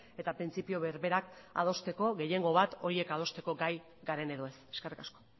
eta printzipio berberak adosteko gehiengo bat horiek adosteko gai garen edo ez eskerrik asko